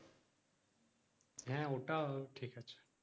হ্যাঁ ওটাও ঠিক আছে